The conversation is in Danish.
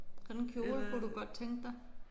Sådan en kjole kunne du godt tænke dig?